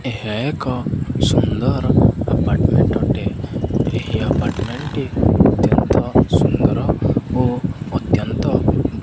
ଏହା ଏକ ସୁନ୍ଦର ଆପାର୍ଟମେଣ୍ଟ ର ଅଟେ ଏହି ଆପାର୍ଟମେଣ୍ଟ ର ଟି ଅତେନ୍ତ ସୁନ୍ଦର ଓ ଅତେନ୍ତ --